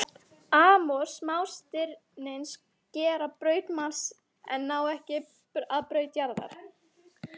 Amor smástirnin skera braut Mars en ná ekki að braut jarðar.